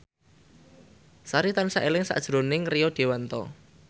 Sari tansah eling sakjroning Rio Dewanto